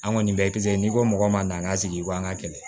An kɔni bɛɛ kisɛ n'i ko mɔgɔ ma na an ka sigi i ko an ka kɛlɛ